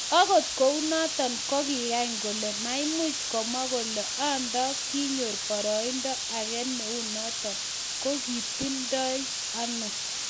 Agot kounoton, koging'any kole maimuch komwa kole ondo kigonyor boroindo age neu noton, ko kitotildo ano.